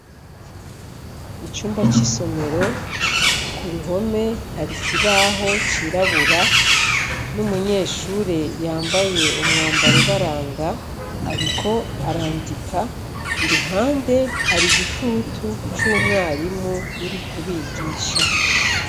icumba c'isomero ku ruhome hari kibaho cirabura n'umunyeshure yambaye umwambar ubaranga ariko arandika iruhande hari gitutu c'umwarimu uri kubigisha.